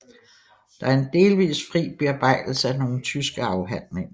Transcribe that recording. Det er en delvis fri Bearbejdelse af nogle tyske Afhandlinger